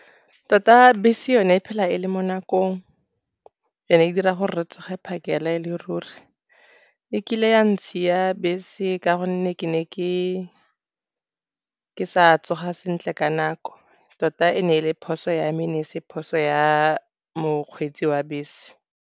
Tota bese yone e phela e le mo nakong, and-e e dira gore re tsoge phakela e le ruri. E kile ya ntshiya bese ka gonne ke ne ke sa tsoga sentle ka nako. Tota e ne e le phoso ya me, e ne e se phoso ya mokgweetsi wa bese.